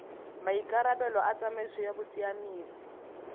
maikarabelo a tsamaiso ya bosiamisi